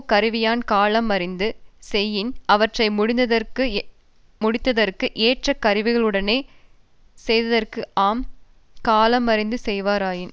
கருவியான் காலம் அறிந்து செயின் அவற்றை முடித்தற்கு ஏற்ற கருவிகளுடனே செய்தற்கு ஆம் காலம் அறிந்து செய்வராயின்